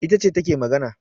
Ita ce take magana